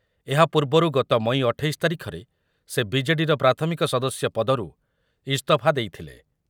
ଏହା ପୂର୍ବରୁ ଗତ ମଇ ଅଠେଇଶି ତାରିଖରେ ସେ ବି ଜେ ଡି ର ପ୍ରାଥମିକ ସଦସ୍ୟ ପଦରୁ ଇସ୍ତଫା ଦେଇଥିଲେ ।